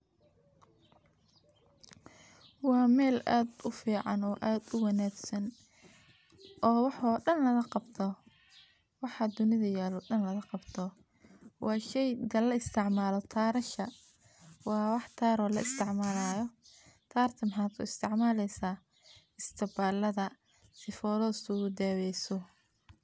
Wa meel adh ufican, oo adh uwanagsan, oo waxoo dan waqagabto, waxa dunida yaloo dan laqagabto, wa sheyga laisticmaloo karashaa wa wax kar oo laisticmalo, karka maxa kuisticmaleysa, istibaladha, sifoloo iskuladaweysoo.